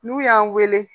N'u y'an weele